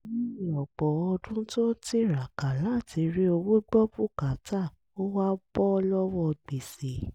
lẹ́yìn ọ̀pọ̀ ọdún tí ó ń tiraka láti rí owó gbọ́ bùkátà ó wá bọ́ lọ́wọ́ gbèsè